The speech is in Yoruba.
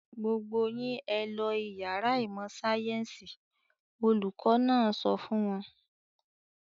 "Gbogbo yín ẹ lọ ìyàrá ìmọ̀-sáyẹ́ńsì! Olùkọ́ náà sọ fún wọn.